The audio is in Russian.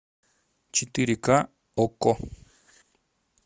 четыре ка окко